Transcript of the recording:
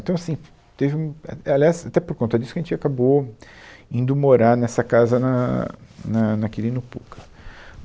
Então, assim, teve um... é, é aliás, até por conta disso que a gente acabou indo morar nessa casa na na na Quirino Pucca.